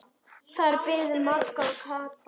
Þar biðu Magga og Kata.